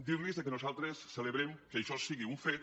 dir los que nosaltres celebrem que això sigui un fet